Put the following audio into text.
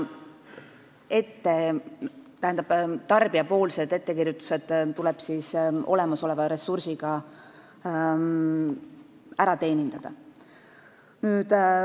Ettekirjutused tuleb olemasoleva ressursiga ära teenindada.